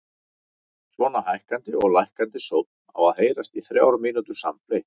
Svona hækkandi og lækkandi sónn átti að heyrast í þrjár mínútur samfleytt.